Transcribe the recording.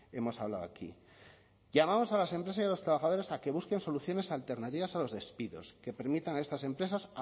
hemos hablado aquí llamamos a las empresas y a los trabajadores a que busquen soluciones alternativas a los despidos que permitan a estas empresas